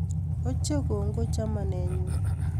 Ochei kongoi chamanenyu